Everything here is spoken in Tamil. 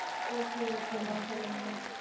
Okay okay மா சொல்லுங்கம்மா